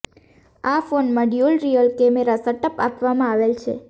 આ ફોનમાં dual rear camera setup આપવામાં આવેલ છે